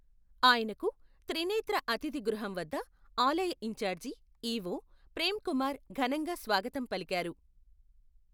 ఆయనకు, త్రినేత్ర అతిధి గృహం వద్ద, ఆలయ ఇన్చార్జి, ఈ.ఓ. ప్రెమ్ కుమార్, ఘనంగా స్వాగతం పలికారు.